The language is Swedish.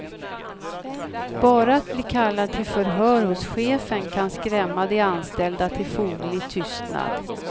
Bara att bli kallad till förhör hos chefen kan skrämma de anställda till foglig tystnad.